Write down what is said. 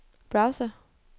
browser